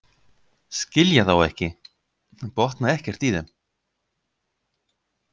Skilja þá ekki, botna ekkert í þeim.